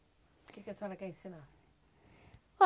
O que que a senhora quer ensinar?